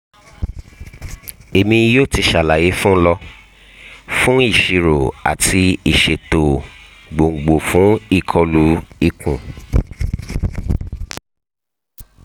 emi yoo ti ṣalaye fun lọ fun iṣiro ati iṣeto gbongbo fun ikolu ikun